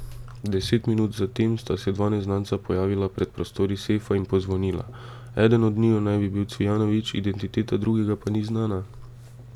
Deset minut zatem sta se dva neznanca pojavila pred prostori sefa in pozvonila, eden od njiju naj bi bil Cvijanović, identiteta drugega pa ni znana.